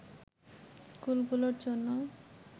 স্কুলগুলোর জন্য